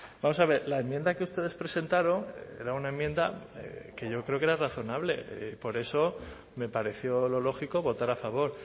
vamos a ver la enmienda que ustedes presentaron era una enmienda que yo creo que era razonable por eso me pareció lo lógico votar a favor